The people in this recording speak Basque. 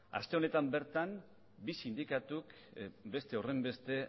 aste honetan bertan bi sindikatuk beste horrenbeste